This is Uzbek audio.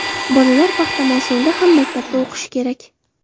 Bolalar paxta mavsumida ham maktabda o‘qishi kerak.